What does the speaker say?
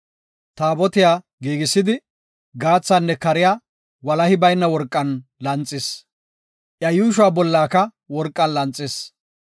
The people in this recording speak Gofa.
Taabotiya giigisidi, gaathaanne kariya walahi bayna worqan lanxis. Iya yuushuwa bollaka worqan lanxis.